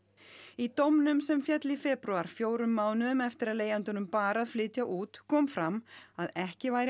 í dómnum sem féll í febrúar fjórum mánuðum eftir að leigjandanum bar að flytja út kom fram að ekki væri